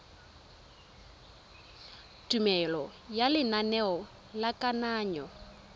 tumelelo ya lenaneo la kananyo